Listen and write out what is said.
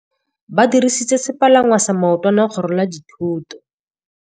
Ba dirisitse sepalangwasa maotwana go rwala dithôtô.